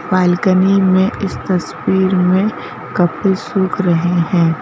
Balcony में इस तस्वीर में कपड़े सूख रहे हैं।